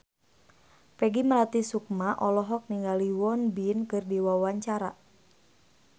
Peggy Melati Sukma olohok ningali Won Bin keur diwawancara